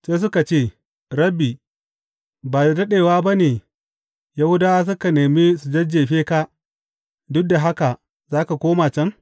Sai suka ce, Rabbi, ba da daɗewa ba ne Yahudawa suka nemi su jajjefe ka, duk da haka za ka koma can?